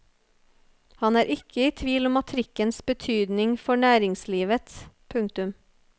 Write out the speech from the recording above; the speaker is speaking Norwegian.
Han er ikke i tvil om trikkens betydning for næringslivet. punktum